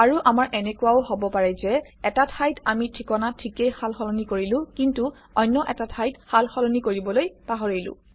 আৰু আমাৰ এনেকুৱাও হব পাৰে যে এটা ঠাইত আমি ঠিকনা ঠিকেই সালসলনি কৰিলো কিন্তু অন্য এটা ঠাইত সালসলনি কৰিবলৈ পাহৰিলো